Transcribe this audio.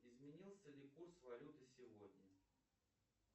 изменился ли курс валюты сегодня